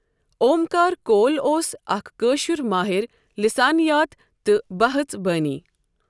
اومکار کول اوس اَکھ کٲشُر ماہر لسانیات تہٕ بہژبانی.